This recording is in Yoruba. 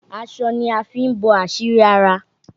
Aṣọ ni a fi ń bo àṣírí ara.